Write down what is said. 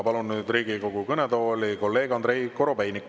Palun nüüd Riigikogu kõnetooli kolleeg Andrei Korobeiniku.